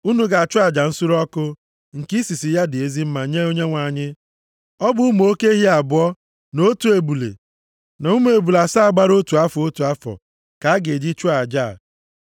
Unu ga-achụ aja nsure ọkụ, nke isisi ya dị ezi mma nye Onyenwe anyị. Ọ bụ ụmụ oke ehi abụọ, na otu ebule, na ụmụ ebule asaa gbara otu afọ, otu afọ, ka a ga-eji chụọ aja a.